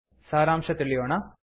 ಸಾರಾಂಶ ತಿಳಿಯೋಣ